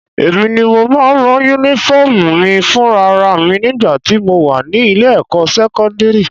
Èmi ni mo máa ń rán Únífọ́ọ̀mù mi fúnra ra mi nígbà tí mo wà ní ilé-ẹ̀kọ́ sẹ́kọ́ndírì